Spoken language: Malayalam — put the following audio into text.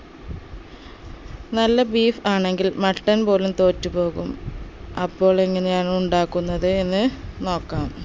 നല്ല beef ആണെങ്കിൽ mutton പോലും തൊറ്റു പോകും അപ്പോൾ എങ്ങനെയാണ് ഉണ്ടാക്കുന്നത് എന്ന് നോക്കാം